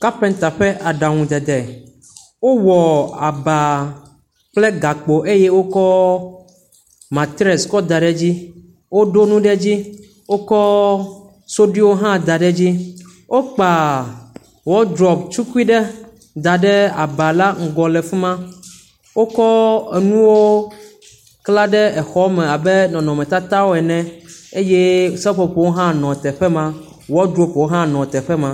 Kapenta ƒe aɖaŋuɖeɖe. Wowɔ aba kple gakpo eye wokɔ matresi kɔ da ɖe edzi. Woɖo nu ɖe edzi. Wokɔ suɖiwo hã da ɖe edzi. Wokpa wɔdrobu tukui ɖe da ɖe aba la ŋgɔ da ɖe afi me. Wokɔ nu enuwo la ɖe xe la me abe nɔnɔmetatawo ene eye seƒoƒo hã nɔ teƒe ma. Wɔdrobuwo hã nɔ teƒe ma.